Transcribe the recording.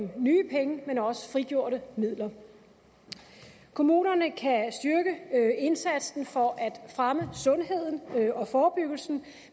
af nye penge men også frigjorte midler kommunerne kan styrke indsatsen for at fremme sundheden og forebyggelsen